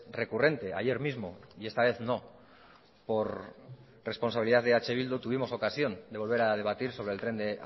recurrente ayer mismo y esta vez no por responsabilidad de eh bildu tuvimos ocasión de volver a debatir sobre el tren de